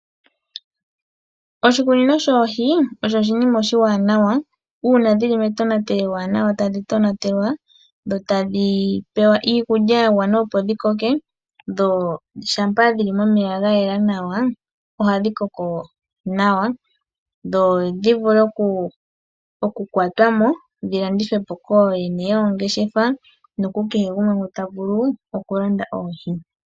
Oshikunino shoohi osho oshinima oshiwanawa uuna dhili metonatelo ewanawa, tadhi tonatelwa, dho tadhi pewa iikulya ya gwana opo dhi koke, dho shampa dhili momeya ga yela nawa, ohadhi koko nawa dho dhi vule oku kwatwa mo, dho dhi landithwe po kooyene yoongeshefa noku kehe gumwe ta vulu okulanda oohi.